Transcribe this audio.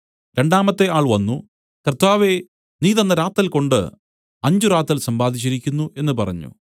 രണ്ടാമത്തെ ആൾ വന്നു കർത്താവേ നീ തന്ന റാത്തൽകൊണ്ടു അഞ്ച് റാത്തൽ സമ്പാദിച്ചിരിക്കുന്നു എന്നു പറഞ്ഞു